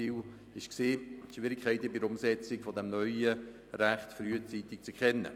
Das Ziel war es, Schwierigkeiten bei der Umsetzung des neuen Rechts frühzeitig zu erkennen.